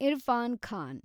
Irfan Khan